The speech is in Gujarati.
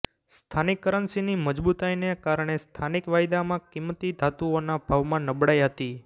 સ્થાનિક કરન્સીની મજબૂતાઇને કારણે સ્થાનિક વાયદામાં કિંમતી ધાતુઓના ભાવમાં નબળાઈ હતી